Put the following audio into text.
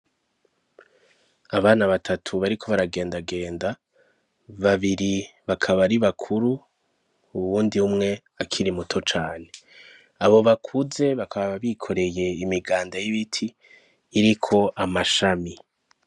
Abana batatu bariko baragendagenda, babiri bakaba ari bakuru uwundi umwe akiri muto cane. Abo bakuze bakaba bikoreye imiganda y'ibiti iriko amashami.